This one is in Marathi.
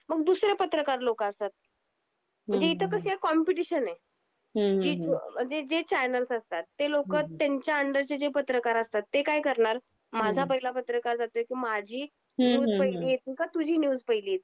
मग दुसर्या पत्रकार लोक असतात, म्हणजे इथे कशी आहे कॉम्पिटिशन आहे. म्हणजे जे चॅनेल्स असतात ते लोक त्यांच्या अंडर चे पत्रकार असतात ते काय करणार, माझा पहिला पत्रकार जातो आहे, तर माझी न्यूस पहिली येतिए का तुझी न्यूस पहिली येतिए चैनल ला.